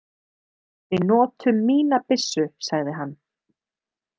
Við notum mína byssu, sagði hann.